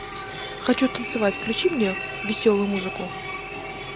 хочу танцевать включи мне веселую музыку